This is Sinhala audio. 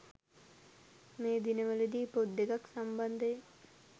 මේ දිනවල දී පොත් දෙකක් සම්බන්ධයෙන්